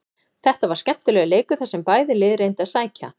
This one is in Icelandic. Þetta var skemmtilegur leikur þar sem bæði lið reyndu að sækja.